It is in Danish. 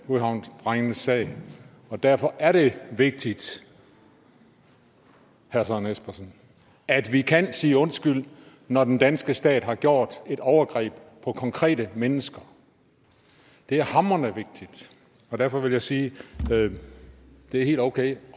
godhavnsdrengenes sag og derfor er det vigtigt herre søren espersen at vi kan sige undskyld når den danske stat har gjort et overgreb på konkrete mennesker det er hamrende vigtigt og derfor vil jeg sige at det er helt okay